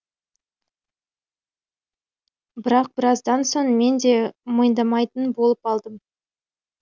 бірақ біраздан соң мен де мойындамайтын болып алдым